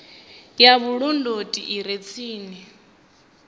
ya vhulondoti i re tsini